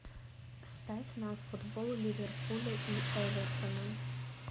ставь нам футбол ливерпуля и эвертона